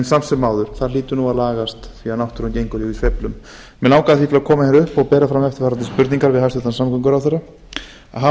samt sem áður hlýtur það að lagast því náttúran gengur í sveiflum mig langaði því að koma hingað upp og bera fram eftirfarandi spurningar til hæstvirts samgönguráðherra fyrsta hafa